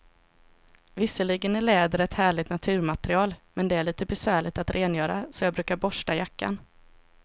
Visserligen är läder ett härligt naturmaterial, men det är lite besvärligt att rengöra, så jag brukar borsta jackan.